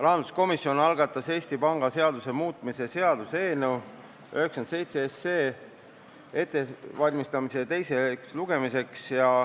Rahanduskomisjon algatas Eesti Panga seaduse muutmise seaduse eelnõu 97 ettevalmistamise teiseks lugemiseks.